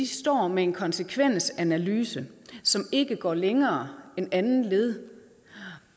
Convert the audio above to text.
står med en konsekvensanalyse som ikke går længere end til andet led